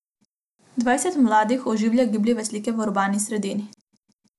Dvajset mladih oživlja gibljive slike v urbani sredini.